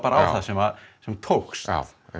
á það sem sem tókst